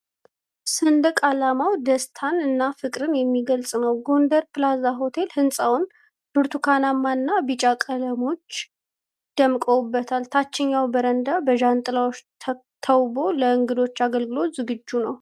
ሰንደቅ ዓላማው ደስታን እና ፍቅርን የሚገልጽ ነው፣ ጎንደር ፕላዛ ሆቴል ሕንጻው ብርቱካናማና ቢጫ ቀለሞች ደምቀውበት፣ ታችኛው በረንዳ በዣንጥላዎች ተውቦ ለእንግዶች አገልግሎት ዝግጁ ነው።